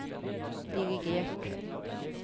dirigert